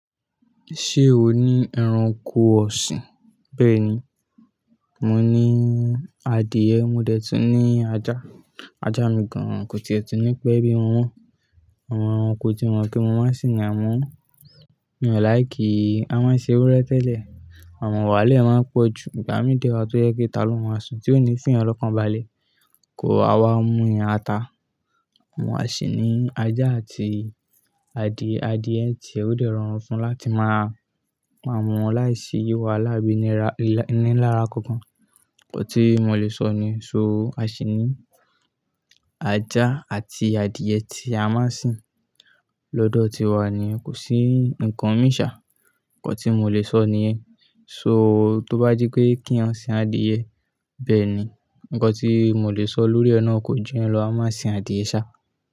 Ṣé o ní ẹranko ọ̀sìn? Bẹ́ẹ̀ ni, mo ní adìẹ, mo dẹ̀ tún ní ajá. Ajá mi gan-an kò tiẹ̀ tún ní pẹ́ bí wọ́n wọ́n. Àwọn ẹranko tí wọ́n kí n máa sì ń à mọ́ wọn. Mi o like í a máa ṣe ewúrẹ́ tẹ́lẹ̀, àmọ̀ wàhálè máa pọ̀ ju. Ìgbà mí dẹ wà tó yẹ pé italó má sùn tí ó ní fìyàn lọ́kànbalẹ̀ kò wa wa múyàn ata. Àwọn àṣìní ajá àti adìẹ, adìẹ ti ẹ o dẹ ran wọn fún láti máa pa wọn láìsí yí wa láàbíninra- iní lára kankan. Ǹkọ tí mo lè sọ ni, so àṣìní ajá àti adìẹ tí a máa ń sìn lọ́dọ̀ ti wa ni kò sí ǹkan mí ìṣà. Ǹkọ tí mò lè sọ ni ẹ. So tó bá jẹ pe kí a sìn adìẹ, bẹ́ẹ̀ ni. Ǹkọ tí mò lè sọ lórí è nà kò ju ìyẹn lọ. A máa sìn adìẹ sá.